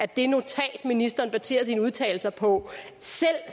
det notat ministeren baserer sine udtalelser på selv